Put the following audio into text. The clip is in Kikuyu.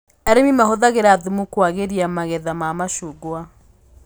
Arĩmi mahũthagĩra thumu kũagĩria magetha ma macungwa